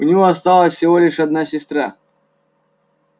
у него осталась всего лишь одна сестра